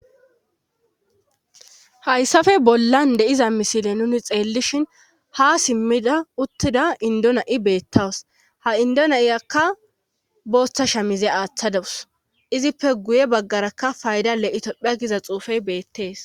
hayssafe bollan deiza misile nuni xeellishin ha simmida uttida indona7i beettawus ha indona7iyakka booththasha mize aaththa dewus izippe guye baggaraka fayda le7itopphia giza xuufey beettees